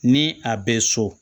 Ni a bɛ so